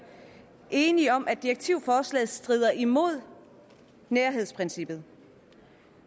enige om at direktivforslaget strider imod nærhedsprincippet